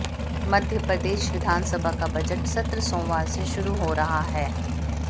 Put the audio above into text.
मध्य प्रदेश विधानसभा का बजट सत्र सोमवार से शुरू हो रहा है